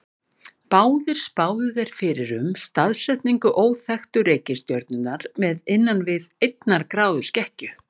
Báðir spáðu þeir fyrir um staðsetningu óþekktu reikistjörnunnar með innan við einnar gráðu skekkju.